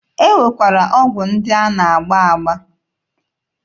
E nwekwara ọgwụ ndị a na-agba agba.